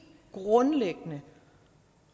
grundlæggende